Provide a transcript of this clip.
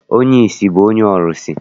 Onye ìsì bụ onye ọrụsị.